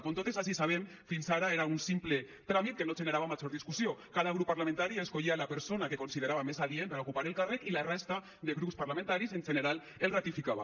com totes ací sabem fins ara era un simple tràmit que no generava major discussió cada grup parlamentari escollia la persona que considerava més adient per a ocupar el càrrec i la resta de grups parlamentaris en general el ratificava